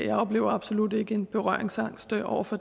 jeg oplever absolut ikke en berøringsangst over for